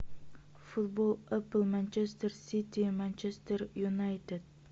футбол апл манчестер сити манчестер юнайтед